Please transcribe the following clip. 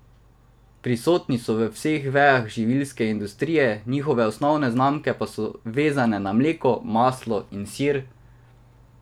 Prisotni so v vseh vejah živilske industrije, njihove osnovne znamke pa so vezane na mleko, maslo in sir.